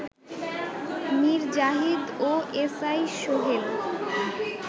মীর জাহিদ ও S I Sohel